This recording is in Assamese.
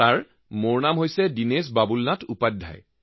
মহোদয় মোৰ নাম দিনেশ বাবুলনাথ উপাধ্যায়